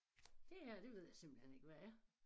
Det her det ved jeg simpelthen ikke hvad er